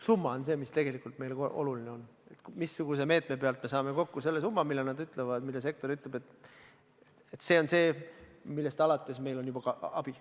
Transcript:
Summa on see, mis tegelikult meile oluline on – missuguse meetme abil me saame kokku selle summa, mille kohta sektor ütleb, et see on summa, millest alates meil on juba abi.